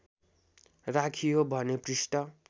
राखियो भने पृष्ठ